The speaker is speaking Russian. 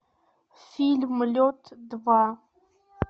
фильм лед два